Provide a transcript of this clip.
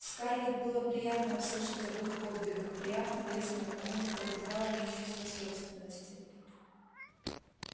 скарлетт было приятно услышать об их подвигах приятно лестно и к тому же пробуждало в ней чувство собственности